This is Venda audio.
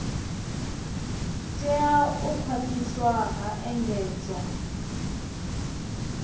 tea u khwathiswa ha engedzwa